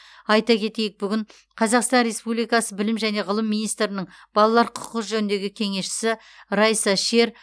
айта кетейік бүгін қазақстан республикасы білім және ғылым министрінің балалар құқығы жөніндегі кеңесшісі райса шер